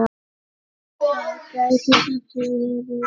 Það gæti samt verið.